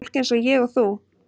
Fólk eins og ég og þú.